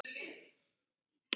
Alltof víða!